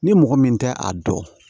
Ni mɔgɔ min tɛ a dɔn